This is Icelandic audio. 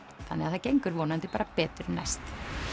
það gengur bara betur næst